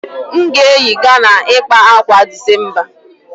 M ga-eyi Ghana ịkpa ákwà a December